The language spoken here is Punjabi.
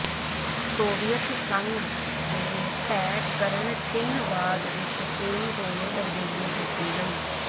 ਸੋਵੀਅਤ ਸੰਘ ਦੇ ਢਹਿ ਕਰਨ ਚਿੰਨ੍ਹਵਾਦ ਵਿਚ ਕੋਈ ਹੋਰ ਤਬਦੀਲੀ ਕੀਤੀ ਗਈ